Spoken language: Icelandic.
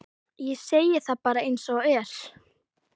Ég segi það bara eins og er.